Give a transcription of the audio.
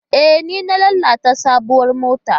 E, ni na lalata sabuwar motar.